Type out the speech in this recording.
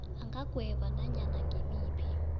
angagweba nanyana ngimaphi